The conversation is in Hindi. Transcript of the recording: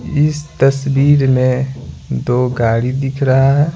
इस तस्वीर में दो गाड़ी दिख रहा है।